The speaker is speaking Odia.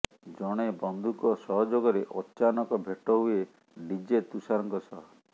ଜଣେ ବନ୍ଧୁଙ୍କ ସହଯୋଗରେ ଅଚାନକ ଭେଟ ହୁଏ ଡିଜେ ତୁଷାରଙ୍କ ସହ